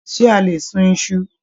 Ṣe a lè sún Isu?